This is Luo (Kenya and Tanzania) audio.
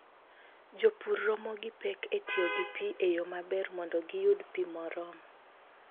Jopur romo gi pek e tiyo gi pi e yo maber mondo giyud pi moromo.